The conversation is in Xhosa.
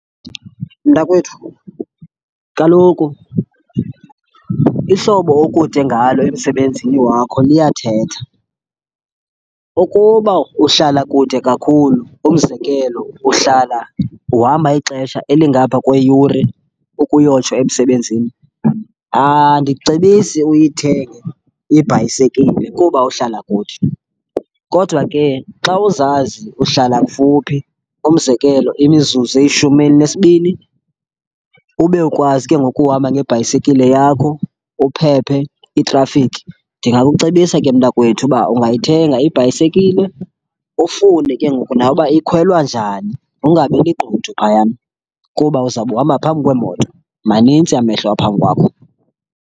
Mntakwethu kaloku ihlobo okude ngalo emsebenzini wakho liyathetha. Ukuba uhlala kude kakhulu, umzekelo uhlala uhamba ixesha elingapha kweyure ukuyotsho emsebenzini, andicebisi uyithenge ibhayisekile kuba uhlala kude. Kodwa ke xa uzazi uhlala kufuphi, umzekelo imizuzu eyishumi elinesibini, ube ukwazi ke ngoku ukuhamba ngebhayisekile yakho, uphephe itrafikhi, ndingakucebisa ke mntakwethu uba ungayithenga ibhayisekile, ufunde ke ngoku nawe uba ikhwelwa njani. Ungabi ligqudu phayana kuba uzawube uhamba phambi kweemoto, manintsi amehlo phambi kwakho.